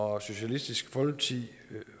og socialistisk folkeparti